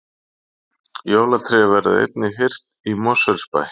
Jólatré verða einnig hirt í Mosfellsbæ